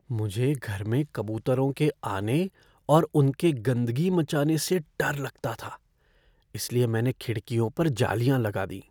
मुझे घर में कबूतरों के आने और उनके गंदगी मचाने से डर लगता था इसलिए मैंने खिड़कियों पर जालियाँ लगा दीं।